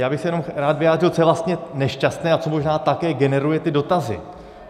Já bych se jenom rád vyjádřil, co je vlastně nešťastné a co možná také generuje ty dotazy.